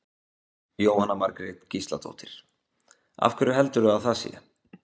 Jóhanna Margrét Gísladóttir: Af hverju heldurðu að það sé?